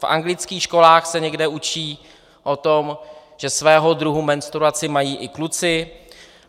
V anglických školách se někde učí o tom, že svého druhu menstruaci mají i kluci.